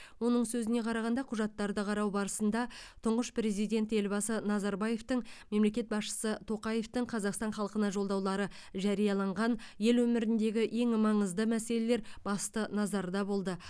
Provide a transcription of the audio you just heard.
оның сөзіне қарағанда құжаттарды қарау барысында тұңғыш президент елбасы назарбаевтың мемлекет басшысы тоқаевтың қазақстан халқына жолдаулары жарияланған ел өміріндегі ең маңызды мәселелер басты назарда болды